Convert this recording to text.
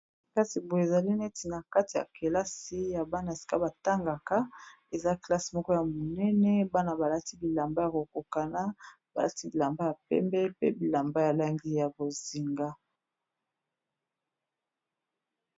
kasi boye ezali neti na kati ya kelasi ya bana esika batangaka eza kelassi moko ya monene bana balati bilamba ya kokokana balati bilamba ya pembe pe bilamba yalangi ya kozinga